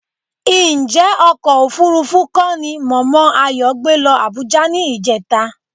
Ǹjẹ́ ọkọ̀ òfuurufú kọ́ ni mọ̀mọ́ Ayọ̀ gbé lọ Àbújá ní ìjẹta?